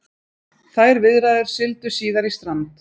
Þær viðræður sigldu síðar í strand